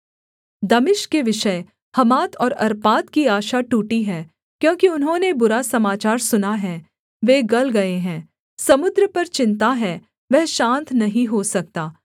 दमिश्क के विषय हमात और अर्पाद की आशा टूटी है क्योंकि उन्होंने बुरा समाचार सुना है वे गल गए हैं समुद्र पर चिन्ता है वह शान्त नहीं हो सकता